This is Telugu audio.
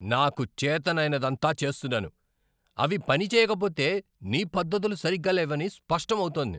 నాకు చేతనైనదంతా చేస్తున్నాను, అవి పని చెయ్యకపోతే నీ పద్దతులు సరిగ్గా లేవని స్పష్టం అవుతోంది.